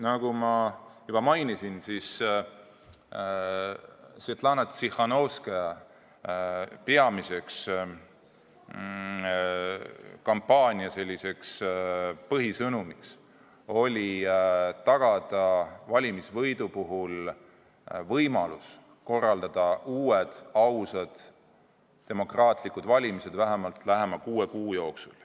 Nagu ma juba mainisin, Svetlana Tsihhanovskaja kampaania põhieesmärk oli tagada võimalus korraldada uued, ausad, demokraatlikud valimised vähemalt lähema kuue kuu jooksul.